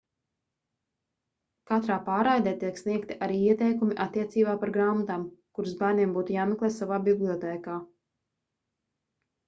katrā pārraidē tiek sniegti arī ieteikumi attiecībā par grāmatām kuras bērniem būtu jāmeklē savā bibliotēkā